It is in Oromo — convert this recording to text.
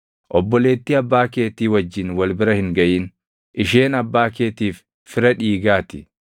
“ ‘Obboleettii abbaa keetii wajjin wal bira hin gaʼin; isheen abbaa keetiif fira dhiigaa ti.